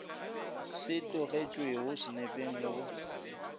se tlogetšwego senepeng le go